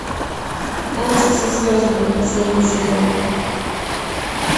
танцы со звездами последний сезон